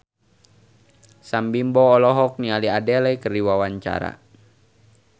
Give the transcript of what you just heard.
Sam Bimbo olohok ningali Adele keur diwawancara